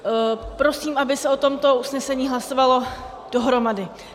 Prosím, aby se o tomto usnesení hlasovalo dohromady.